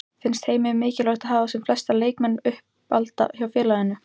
Finnst Heimi mikilvægt að hafa sem flesta leikmenn uppalda hjá félaginu?